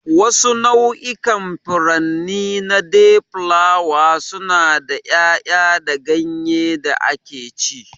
Wasu nau'ikan furanni na dayflower suna da yaya da ganye da akeci.